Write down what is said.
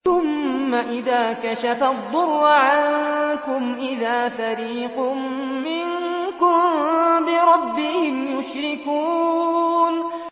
ثُمَّ إِذَا كَشَفَ الضُّرَّ عَنكُمْ إِذَا فَرِيقٌ مِّنكُم بِرَبِّهِمْ يُشْرِكُونَ